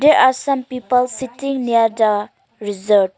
there are some people sitting near the resort.